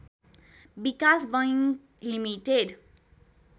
विकास bank limited